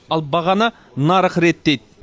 ал бағаны нарық реттейді